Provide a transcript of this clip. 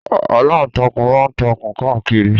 Aláǹtakùn ma ń takùn káàkiri